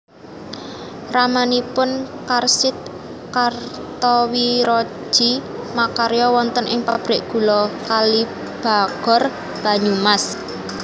Ramanipun Karsid Kartowirodji makarya wonten ing Pabrik Gula Kalibagor Banyumas